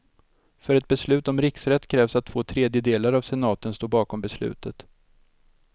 För ett beslut om riksrätt krävs att två tredjedelar av senaten står bakom beslutet.